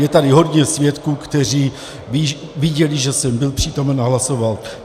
Je tady hodně svědků, kteří viděli, že jsem byl přítomen a hlasoval.